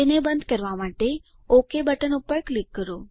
તેને બંધ કરવા માટે ઓક બટન પર ક્લિક કરો